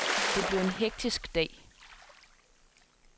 Det blev en hektisk dag.